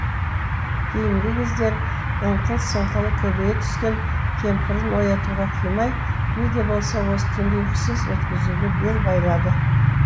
кейінгі кездері ыңқыл сыңқылы көбейе түскен кемпірін оятуға қимай не де болса осы түнді ұйқысыз өткізуге бел байлады